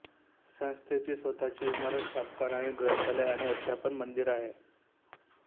संस्थेची स्वतःची इमारत छापखाना ग्रंथालय आणि अध्यापन मंदिर आहे